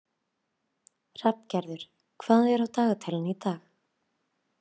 Hrafngerður, hvað er á dagatalinu í dag?